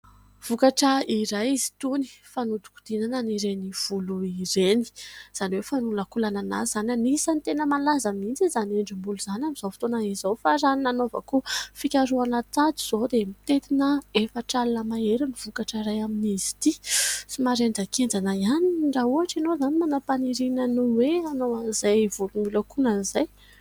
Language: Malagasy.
Vokatra iray izy itony, fanodikodinana an'ireny volo ireny ; izany hoe fanolakolanana azy izany. Anisan'ny tena malaza mihitsy izany endrim-bolo izany amin'izao fotoana izao fa raha ny nanaovako fikarohana tato izao dia mitetina efatra alina mahery ny vokatra iray amin'izy ity. Somary henjakenjana ihany raha ohatra ianao izany manam-paniriana ny hoe hanao an'izay volo miolakolana izay.